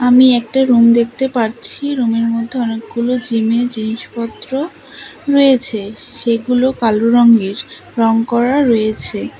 আমি একটা রুম দেখতে পারছি রুমের মধ্যে অনেকগুলো জিমের জিনিসপত্র রয়েছে সেগুলো কালো রঙের রং করা রয়েছে।